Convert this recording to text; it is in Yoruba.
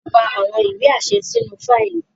a pá àwọn ìwé aṣẹ sínú Fáìlì